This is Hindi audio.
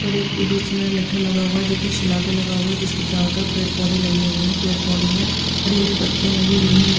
पर एक बीच में लट्ठा लगा हुआ है जो की शिला पर लगा हुआ है जिसके चारों तरफ पेड़ पौधे लगे हुए हैं पेड़ पौधों में हरी हरी पत्तियां लगी हुई है नी--